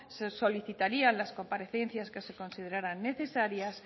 se solicitarían las comparecencias que se consideraran necesarias